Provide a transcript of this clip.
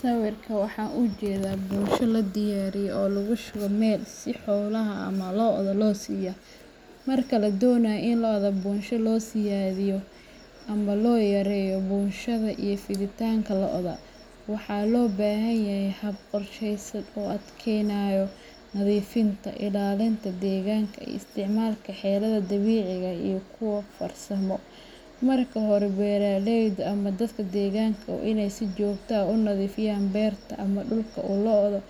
Sawirkan waxan ujedaa bunsho ladiyariye oo lagu shube mel si xolaha ama loda losiyo. Marka la doonayo in lodda bunsho loo siyaadiyo ama loo yareeyo bunshaha iyo fiditaanka lodda, waxa loo baahan yahay hab qorsheysan oo adkeynaya nadiifinta, ilaalinta deegaanka, iyo isticmaalka xeelado dabiici ah iyo kuwa farsamo. Marka hore, beeraleyda ama dadka deegaanka waa inay si joogto ah u nadiifiyaan beerta ama dhulka uu loddu